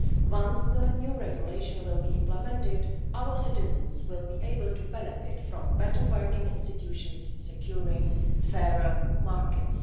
Once the new regulation is implemented, our citizens will be able to benefit from better working institutions securing fairer markets.